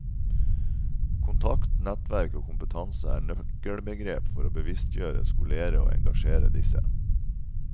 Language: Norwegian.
Kontakt, nettverk og kompetanse er nøkkelbegrep for å bevisstgjøre, skolere og engasjere disse.